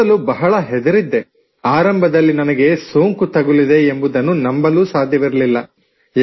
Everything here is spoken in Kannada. ಮೊದಲು ಬಹಳ ಹೆದರಿದ್ದೆ ಆರಂಭದಲ್ಲಿ ನನಗೆ ಸೋಂಕು ತಗುಲಿದೆ ಎಂಬುದನ್ನು ನಂಬಿರಲೂ ಇಲ್ಲ